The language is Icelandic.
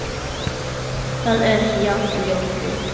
Það er hjá fljóti.